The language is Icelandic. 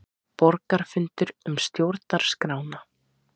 Borgarafundur um stjórnarskrána